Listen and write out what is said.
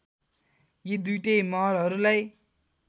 यी दुईटै महलहरूलाई